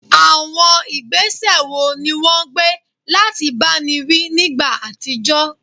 Àwọn ìgbésẹ̀ wo ni wọ́n gbé láti báni wí nígbà àtijọ́?